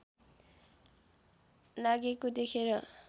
लागेको देखेर